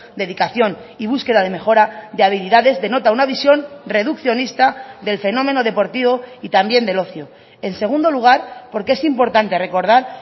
dedicación y búsqueda de mejora de habilidades denota una visión reduccionista del fenómeno deportivo y también del ocio en segundo lugar porque es importante recordar